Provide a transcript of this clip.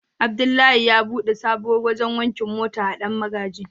Abdullahi ya bude sabuwar wajen wankin mota a dan magaji.